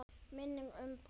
Minning um bróður.